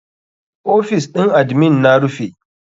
OFIs ɗin admin na rufe.